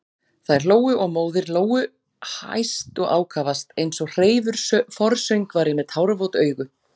Þær hlógu og móðir Lóu hæst og ákafast, eins og hreifur forsöngvari með tárvot augu.